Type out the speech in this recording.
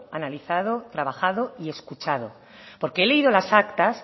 analizado trabajado y escuchado porque he leído las actas